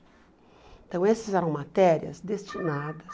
Então essas eram matérias destinadas